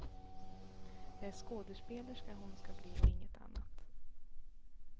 Det är skådespelerska hon skall bli och inget annat.